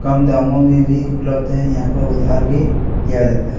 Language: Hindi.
कम दाम में भी उपलब्ध है यहाँ पे उधार दिया जाता है।